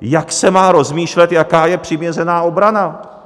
jak se má rozmýšlet, jaká je přiměřená obrana?